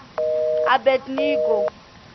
abednego